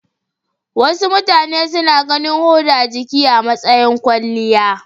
Wasu mutane suna ganin huda jiki a matsayin kwalliya.